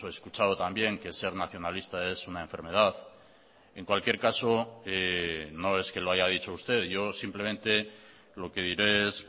escuchado también que ser nacionalista es una enfermedad en cualquier caso no es que lo haya dicho usted yo simplemente lo que diré es